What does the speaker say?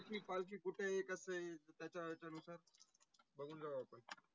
पालकी कुटे आहे? कसे आहेत? त्याच्या हेच्या अनुसार बगुन जावु आपन.